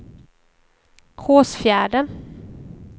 Hårsfjärden